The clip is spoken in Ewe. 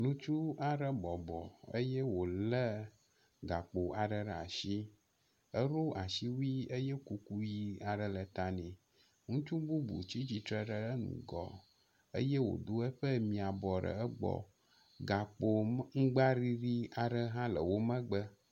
Ŋutsu aɖe bɔbɔ eye wo le gakpo aɖe ɖe asi. Eɖo asiwui eye kuku ʋi aɖe le ta nɛ. Ŋutsu bubu tsi tsitre ɖe eŋugɔ eye wobu eƒe mibɔ ɖe egbɔ. Gakpo ŋku aŋgbaɖiɖi aɖe hã le wo megbe.